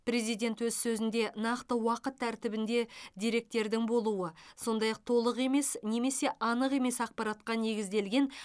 президент өз сөзінде нақты уақыт тәртібінде деректердің болуы сондай ақ толық емес немесе анық емес ақпаратқа негізделген